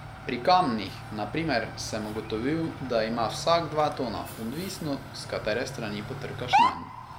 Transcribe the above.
Pri kamnih, na primer, sem ugotovil, da ima vsak dva tona, odvisno, s katere strani potrkaš nanj.